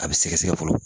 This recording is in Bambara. A bɛ sɛgɛsɛgɛ fɔlɔ